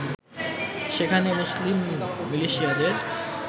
সেখানে মুসলিম মিলিশিয়াদের